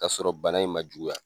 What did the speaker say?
O y'a sɔrɔ bana in ma juguya.